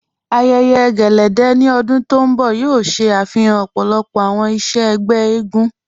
Àyẹ̀yẹ̀ ẹ̀lẹ́dẹ̀ ní ọ̀dún tó nbọ̀ yóò ṣẹ afihàn ọ̀pọ̀lọ̀pọ̀ awọn iṣẹ̀ ẹgbẹ̀ ègún.